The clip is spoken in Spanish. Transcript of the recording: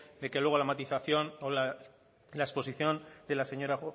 que luego la matización o la exposición de la señora